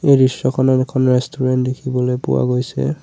এই দৃশ্যখনত এখন ৰেষ্টোৰেণ্ট দেখিবলৈ পোৱা গৈছে।